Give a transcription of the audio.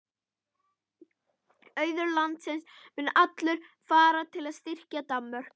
Auður landsins mun allur fara til að styrkja Danmörku.